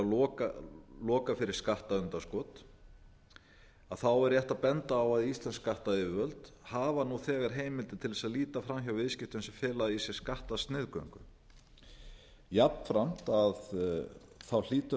er að loka fyrir skattundanskot er rétt að benda á að íslensk skattayfirvöld hafa nú þegar heimildir til þess að líta fram hjá viðskiptum sem fela í sér skattasniðgöngu jafnframt aftur